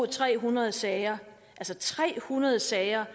tre hundrede sager altså tre hundrede sager